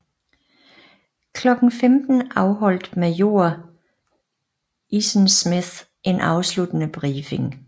Klokken 15 afholdt major Easonsmith en afsluttende briefing